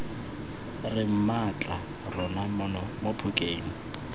re mmatla rona mono phokeng